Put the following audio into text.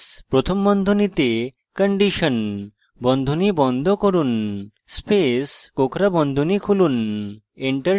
if space প্রথম বন্ধনীতে condition বন্ধনী বন্ধ করুন space কোঁকড়া বন্ধনী খুলুন